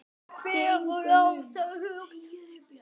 Fegurð er afstætt hugtak.